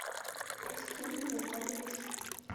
прости меня алеша